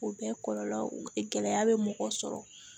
O bɛɛ kɔlɔlɔ gɛlɛya bɛ mɔgɔ sɔrɔ